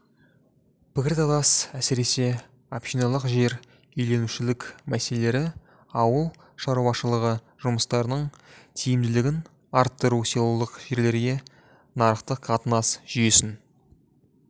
пікірталастар әсіресе общиналық жер иеленушілік мәселелері ауыл шаруашылығы жұмыстарының тиімділігін арттыру селолық жерлерге нарықтық қатынас жүйесін